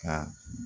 Ka